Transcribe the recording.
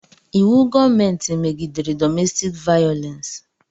Íwú gọọmenti megidere dọmestik vayolensi